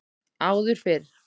Áður fyrr